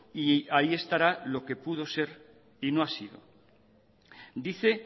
y ahí estará lo que pudo ser y no ha sido dice